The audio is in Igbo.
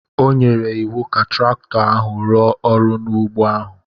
O nyere iwu ka traktọ ahụ rụọ ọrụ n’ugbo ahụ.